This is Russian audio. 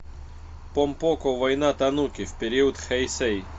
помпоко война тануки в период хэйсэй